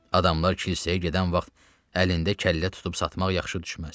Adamlar kilsəyə gedən vaxt əlində kəllə tutub satmaq yaxşı düşməz.